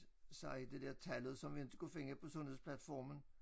Sige det der tallet som inte kunne finde på sundhedsplatformen